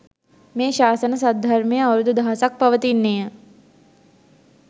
මේ ශාසන සද්ධර්මය අවුරුදු දහසක් පවතින්නේ ය.